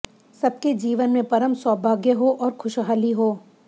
सबके जीवन में परम सौभाग्य हो और खुशहाली हो